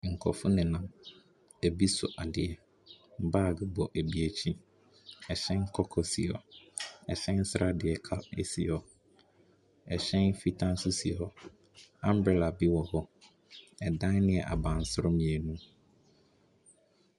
Nkurɔfo nenam, ebi so adeɛ. Baage bɔ ɛbi akyi. Ɛhyɛn kɔkɔɔ si hɔ. Ɛhyɛn sradeɛ cou si hɔ. Ɛhyɛn fitaa nso si hɔ. Umbrella bi wɔ hɔ. Dan no yɛ abansoro mmienu.